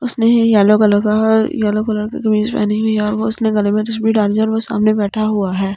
उसने yellow colour का हा येलो कलर का कमीज पहनी हुई है और उसने गले में तस्वीर डाली है और वो सामने बैठा हुआ है।